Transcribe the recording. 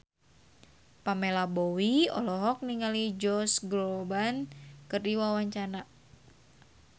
Pamela Bowie olohok ningali Josh Groban keur diwawancara